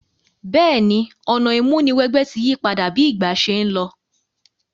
Béèni, ọ̀nà ìmúniwẹgbẹ́ ti yípadà bi ìgbà se n lo